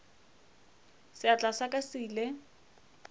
seatla sa ka se ile